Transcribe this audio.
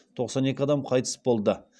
тоқсан екі адам қайтыс болды